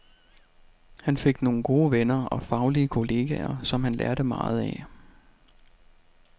Han fik nogle gode venner og faglige kolleger, som han lærte meget af.